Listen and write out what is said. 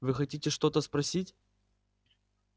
вы хотите что-то спросить